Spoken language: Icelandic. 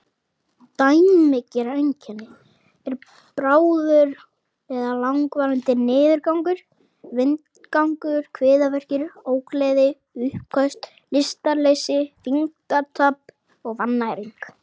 Dæmigerð einkenni eru bráður eða langvarandi niðurgangur, vindgangur, kviðverkir, ógleði, uppköst, lystarleysi, þyngdartap og vannæring.